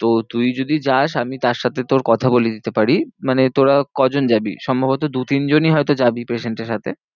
তো তুই যদি যাস আমি তার সাথে তোর কথা বলিয়ে দিতে পারি। মানে তোরা কজন যাবি? সম্ভবত দু তিন জনই হয় তো যাবি patient এর সাথে